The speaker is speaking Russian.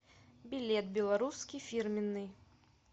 билет белорусский фирменный